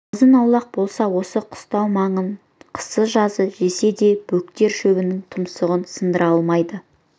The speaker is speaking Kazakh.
азын-аулақ болса осы қыстау маңын қысы-жазы жесе де бөктер шөбінің тұмсығын сындыра алмайды